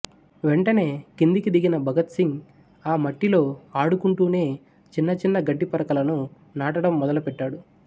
వెంటనే కిందికి దిగిన భగత్ సింగ్ ఆ మట్టిలో ఆడుకుంటూనే చిన్న చిన్న గడ్డిపరకలను నాటడం మొదలు పెట్టాడు